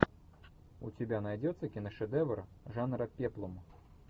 у тебя найдется киношедевр жанра пеплум